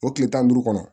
O tile tan ni duuru kɔnɔ